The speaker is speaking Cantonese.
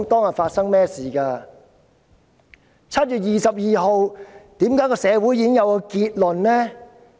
為何社會在7月22日便已有結論？